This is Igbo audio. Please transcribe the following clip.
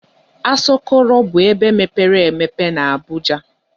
Asọkọrọ bụ ebe mepere emepe na Abuja.